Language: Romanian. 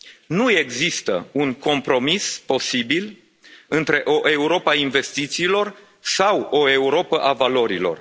Nu există un compromis posibil între o Europă a investițiilor sau o Europă a valorilor.